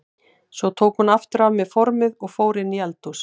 Svo tók hún aftur af mér formið og fór inn í eldhús.